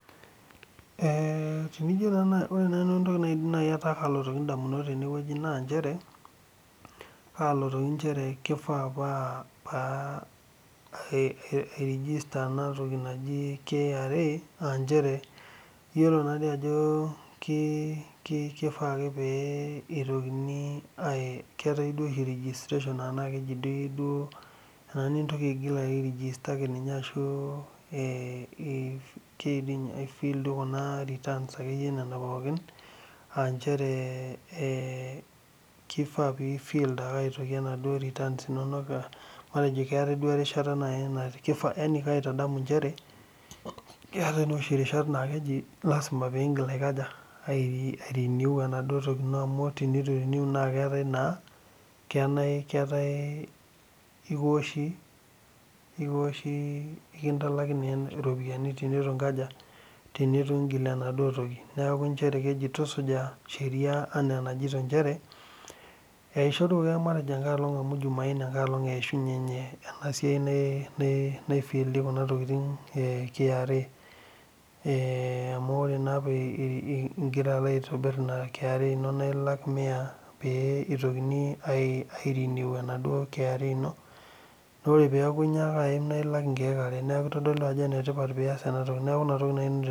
Ee tenijo ore entoki naidim ataa kalitu ndamunot na kishaa pairejista enatoki naji kra aanchere iyiolo ajobkifaa ake kwwtae oshi enaningik airegista ashu ai fill returns pooki aa nchere kifaa pifill ndua returns aanchere keetae duo erishata na lasima pigil airenew naduo tokitin na elintalaki iropiyiani tenitulak inatoki neaku keji tusuja sheria nchere eishoruaki matejo jumaaine amu ninye eishunye enatoki naifiki kra amu ore ingira aitobir ina kra na ilak mia pintokimi alak neaku kitadolu ajo enetipat enias ena